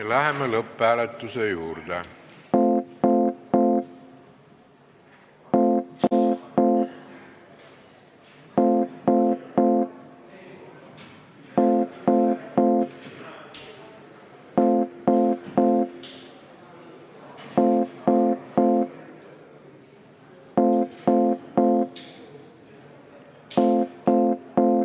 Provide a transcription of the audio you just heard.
Läheme lõpphääletuse juurde.